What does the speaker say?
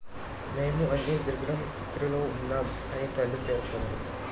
"""మేము అన్ని దిగ్భ్రాంతిలో ఉన్నాం" అని తల్లి పేర్కొంది.